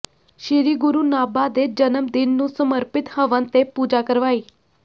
ਸ੍ਰੀ ਗੁਰੂ ਨਾਭਾ ਦੇ ਜਨਮ ਦਿਨ ਨੂੰ ਸਮਰਪਿਤ ਹਵਨ ਤੇ ਪੂਜਾ ਕਰਵਾਈ